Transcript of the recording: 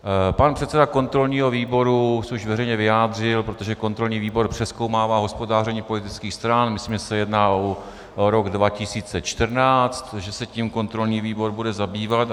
Pan předseda kontrolního výboru se už veřejně vyjádřil, protože kontrolní výbor přezkoumává hospodaření politických stran, myslím, že se jedná o rok 2014, že se tím kontrolní výbor bude zabývat.